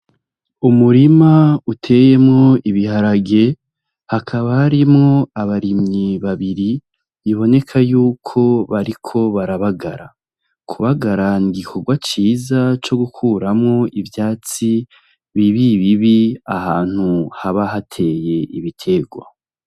Umurima uteyemwo ibiharage hakaba harimwo abarimyi babiri biboneka yuko bariko barabagara, Kubagara nigikorwa ciza cogukuramwo ivyatsi bibibibi ahantu haba hateye ibiterwa.